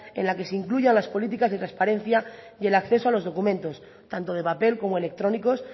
en la que se incluya las políticas de transparencia y el acceso a los documentos tanto de papel como electrónicos